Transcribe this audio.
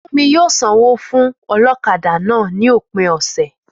Fúnmi yóò sanwó fún ọlọ́kadà náà ní òpin ọ̀sẹ̀